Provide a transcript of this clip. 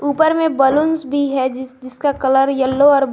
ऊपर में बलूंस भी है जिसका कलर येलो --